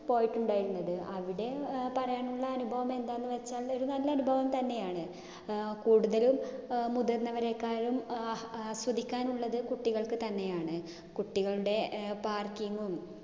പോയിട്ടിണ്ടായിരുന്നത്. അവിടെ അഹ് പറയാനുള്ള അനുഭവമെന്താന്ന് വെച്ചാല് ഒരു നല്ല അനുഭവം തന്നെയാണ്. അഹ് കൂടുതലും അഹ് മുതിർന്നവരെക്കാളും ആ ആസ്വദിക്കാനുള്ളത് കുട്ടികൾക്ക് തന്നെയാണ്. കുട്ടികളുടെ ഏർ parking ഉം